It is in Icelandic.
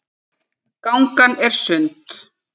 Gangan er sund.